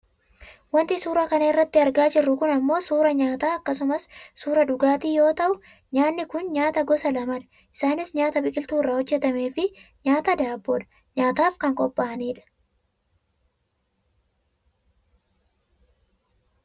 Wanti suuraa kana irratti argaa jirru kun ammoo suuraa nyaataa akkasumas suuraa dhugaatii yoo ta'u nyaanni kun nyaata gosa lama dha. Isaanis nyaataa biqiltuu irraa hojjatameefi nyaataa daabboodha. Nyaataaf kan qophaa'anidha.